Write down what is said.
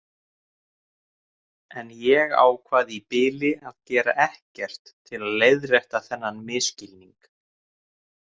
En ég ákvað í bili að gera ekkert til að leiðrétta þennan misskilning.